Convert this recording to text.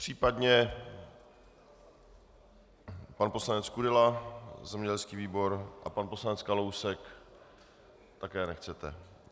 Případně pan poslanec Kudela, zemědělský výbor, a pan poslanec Kalousek - také nechcete.